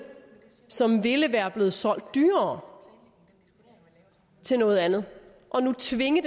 som ville være blevet solgt dyrere til noget andet og nu tvinge